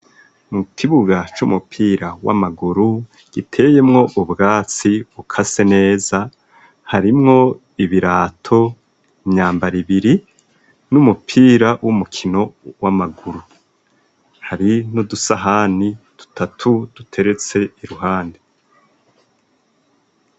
Mu kibuga c'umupira w'amaguru giteyemwo ubwatsi bukase neza harimwo ibirato imyambara ibiri n'umupira w'umukino w'amaguru, hari n'udusahani dutatu duteretse iruhande.